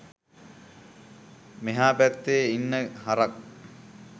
මෙහා පැත්තෙ ඉන්න හරක්